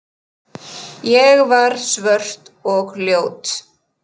Ég var svört og ljót.